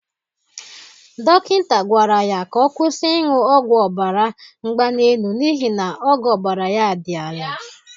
Dokịnta gwara ya ka ọ kwụsï ịṅụ ọgwụ ọbara mgbali elu n' ihi na ogo ọbara ya dị ala.